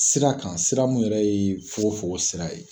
Sira kan sira mun yɛrɛ ye fokon fokon sira ye.